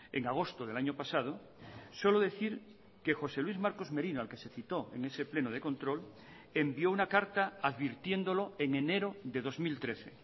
en agosto del año pasado solo decir que josé luis marcos merino al que se citó en ese pleno de control envió una carta advirtiéndolo en enero de dos mil trece